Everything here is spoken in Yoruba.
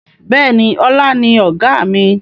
Bẹ́ẹ̀ni, ọlá ni Ọ̀gá mi.